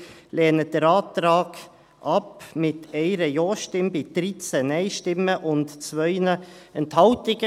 Wir lehnen den Antrag ab, mit 1 Ja-Stimme, bei 13 Nein-Stimmen und 2 Enthaltungen.